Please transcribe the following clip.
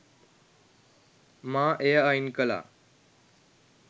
මා එය අයින් කළා.